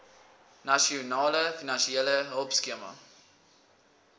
nasionale finansiële hulpskema